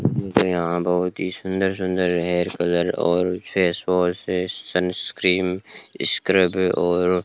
यहां बहुत ही सुंदर सुंदर हेयर कलर और फेस वॉश है सन क्रीम स्क्रब और --